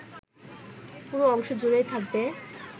পুরো অংশ জুড়েই থাকবে